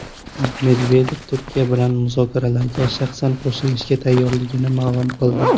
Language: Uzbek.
Medvedev Turkiya bilan muzokaralarga shaxsan qo‘shilishga tayyorligini ma’lum qildi.